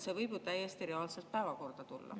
See võib täiesti reaalselt päevakorda tulla.